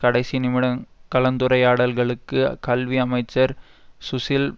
கடைசி நிமிட கலந்துரையாடல்களுக்கு கல்வி அமைச்சர்சுசில்